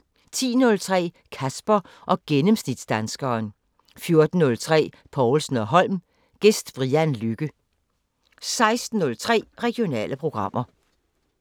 10:03: Kasper og gennemsnitsdanskeren 14:03: Povlsen & Holm: Gæst Brian Lykke 16:03: Regionale programmer